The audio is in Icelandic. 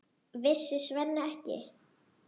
Vissi Svenni ekki?